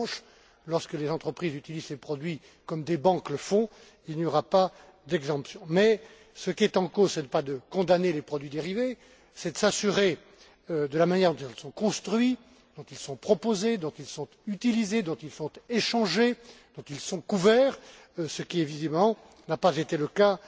En revanche, lorsque les entreprises utilisent ces produits comme des banques le font, il n'y aura pas d'exemptions. Mais ce dont il s'agit, ce n'est pas de condamner les produits dérivés, mais de s'assurer de la manière dont ils sont construits, dont ils sont proposés et utilisés, dont ils sont échangés, dont ils sont couverts, ce qui, visiblement, n'a pas été le cas